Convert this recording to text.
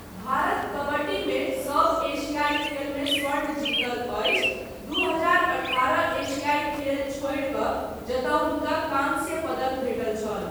भारत कबड्डीमे सभ एशियाई खेलमे स्वर्ण जीतल अछि, दू हजार अठारह एशियाई खेल छोड़ि कऽ जतय हुनका काँस्य पदक भेटल छल।